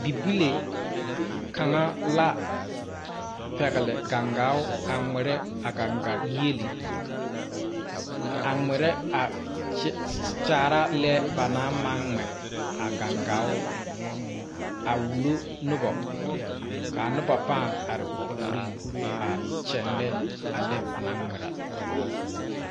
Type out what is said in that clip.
Bibile kanga la pɛgli gangou a ngmiree gang ga yele a ngmiree kyaara le ba nang mang ngmɛ a gangou a wulo nuba kaa nuba paa arẽ ɔ pouring a kyele a le ɔ nang ngmiree.